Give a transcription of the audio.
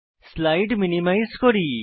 slide minimise করি